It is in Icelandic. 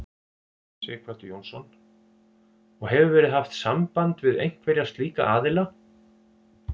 Sighvatur Jónsson: Og hefur verið haft samband við einhverja slíka aðila?